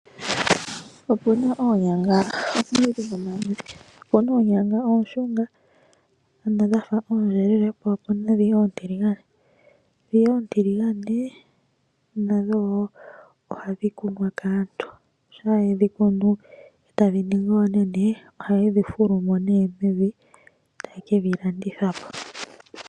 Opu na oonyanga omaludhi nomaludhi. Opu na oonyanga oonshunga, ano dha fa oondjelele, po opu na ndji oontiligane. Ndhi oontiligane nadho wo ohadhi kunwa kaantu, shampa ye dhi kunu tadhi ningi oonene, ohaye dhi fulu mo mevi, taye ke dhi landitha po.